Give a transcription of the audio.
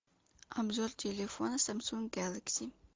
обзор телефона самсунг гэлакси